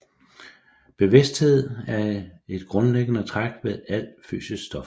Bevidsthed er et grundlæggende træk ved alt fysisk stof